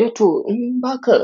Eh to in ba ka